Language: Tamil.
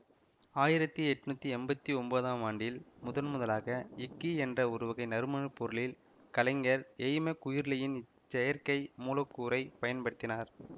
ஆயிரத்தி எட்ணூத்தி எம்பத்தி ஒன்பதாம் ஆண்டில் முதன்முதலாக யிக்கி என்ற ஒருவகை நறுமணப்பொருளில் கலைஞர் எய்மெ குயுர்லியன் இச்செயற்கை மூலக்கூறைப் பயன்படுத்தினார்